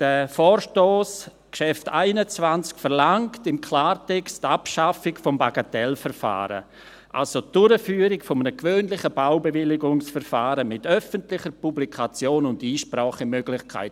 Dieser Vorstoss, Geschäft 21 , verlangt im Klartext die Abschaffung des Bagatellverfahrens, also die Durchführung eines gewöhnlichen Baubewilligungsverfahrens mit öffentlicher Publikation und Einsprachemöglichkeit.